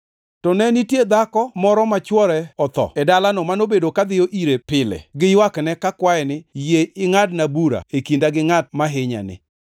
To ne nitie dhako ma chwore otho moro e dalano manobedo kadhiyo ire pile giywakne kakwaye ni, ‘Yie ingʼadna bura e kinda gi ngʼat ma hinyani!’